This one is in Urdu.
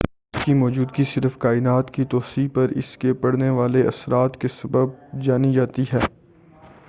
اس کی موجودگی صرف کائنات کی توسیع پر اس کے پڑنے والے اثرات کے سبب جانی جاتی ہے